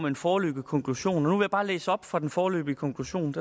en foreløbig konklusion nu vil jeg bare læse op fra den foreløbige konklusion